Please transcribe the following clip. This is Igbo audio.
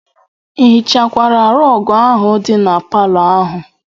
Ị hichakwara rọg ahụ dị na palọ ahụ?